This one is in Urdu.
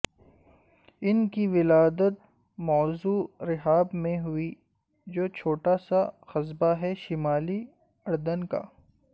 ان کی ولادت موضع رحاب میں ہوئی جو چھوٹا سا قصبہ ہے شمالی اردن کا